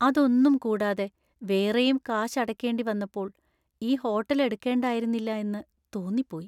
അതൊന്നും കൂടാതെ വേറെയും കാശ് അടക്കേണ്ടി വന്നപ്പോൾ ഈ ഹോട്ടൽ എടുക്കേണ്ടിയിരുന്നില്ലാ എന്ന് തോന്നിപ്പോയി.